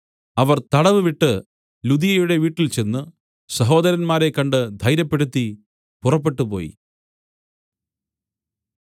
അവർ തടവ് വിട്ടു ലുദിയയുടെ വീട്ടിൽചെന്ന് സഹോദരന്മാരെ കണ്ട് ധൈര്യപ്പെടുത്തി പുറപ്പെട്ടുപോയി